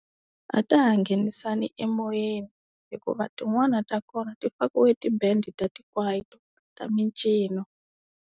A ta ha nghenisani emoyeni hikuva tin'wana ta kona ti fakiwe ti-band-i ta tikwayito ta mincino.